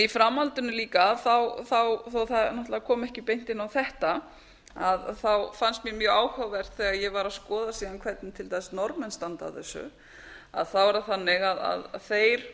í framhaldinu líka þó að það náttúrlega komi ekki beint inn á þetta fannst mér mjög áhugavert þegar ég var að skoða síðan hvernig til dæmis norðmenn standa að þessu þá er það þannig að þeir